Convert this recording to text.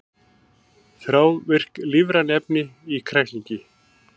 Þrávirk lífræn efni í kræklingi